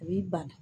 A b'i ban